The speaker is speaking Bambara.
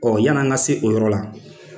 Ɔ yan'an ka se o yɔrɔ la